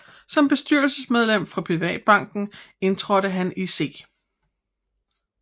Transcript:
Som bestyrelsesmedlem for Privatbanken indtrådte han i C